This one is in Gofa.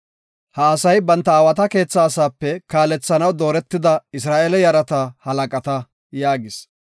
Ha asay banta aawata keethaa asaape kaalethanaw dooretida Isra7eele yarata halaqata” yaagis.